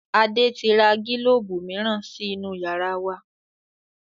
Adé tí ra gílóóbù miran sí inú yàrá wa